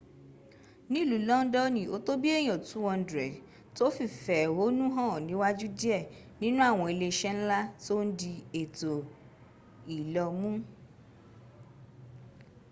nìlú londoni o tó bìí èyàn 200 tó fìfè éhónú hàn níwájú dìé nínú àwọn ilé isé nla tó n di ètò ìlò mu